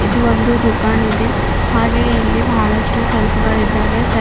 ಇದು ಒಂದು ದುಕಾನ್ ಇದೆ ಹಾಗೇ ಇಲ್ಲಿ ಬಹಳಷ್ಟು ಸೆಲ್ಫ್ ಗಳಿದ್ದಾವೆ ಸೆಲ್ಫ್ --